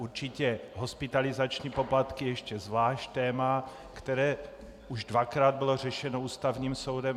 Určitě hospitalizační poplatky je ještě zvlášť téma, které už dvakrát bylo řešeno Ústavním soudem.